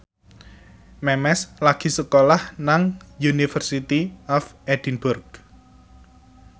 Memes lagi sekolah nang University of Edinburgh